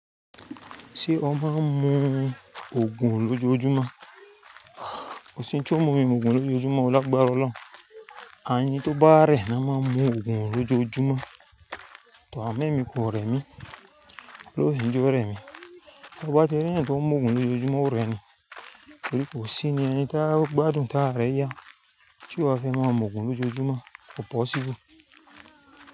Ṣé ọ máa ń mu Ògùn lójoojúmọ́? Kò sí ohun tí ó mú mi mu Ògùn lójoojúmọ́, o lágbára ọlọ́hun. Àyin tó bá rẹ̀ na máa ń mu ogùn lójoojúmọ́, tọ amọ emí kò rẹ̀ mí, Ọlọhun o sì ńi jó rẹ̀ mí. Bá ti rí èèyàn tó ń mu ogùn lójoojúmọ́ ó rẹni, torí kò sí ni ẹni tí a ó gbádùn tá ra rẹ̀ yá. Tií ó wá fẹ́ máa mu ogùn lójoojúmọ́, kò possible.